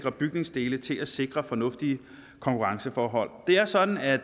af bygningsdele til at sikre fornuftige konkurrenceforhold det er sådan at